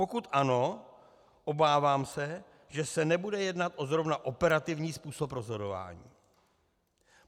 Pokud ano, obávám se, že se nebude jednat zrovna o operativní způsob rozhodování.